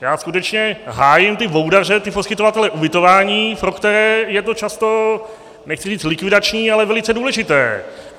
Já skutečně hájím ty boudaře, ty poskytovatele ubytování, pro které je to často, nechci říct likvidační, ale velice důležité.